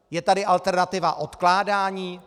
Je tady alternativa odkládání?